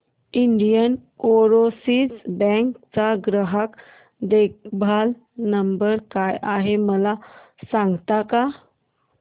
Indian overseas bank चा ग्राहक देखभाल नंबर काय आहे मला सांगता का